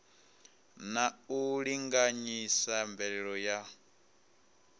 na u linganyisa mveledziso ya